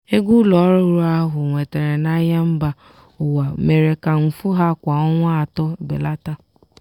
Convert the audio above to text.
ego ụlọ ọrụ ahụ nwetara n'ahịa mba ụwa mere ka mfu ha kwa ọnwa atọ belata.